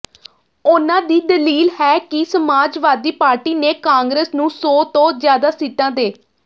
ਉਨ੍ਹਾਂ ਦੀ ਦਲੀਲ ਹੈ ਕਿ ਸਮਾਜਵਾਦੀ ਪਾਰਟੀ ਨੇ ਕਾਂਗਰਸ ਨੂੰ ਸੌ ਤੋਂ ਜ਼ਿਆਦਾ ਸੀਟਾਂ ਦੇ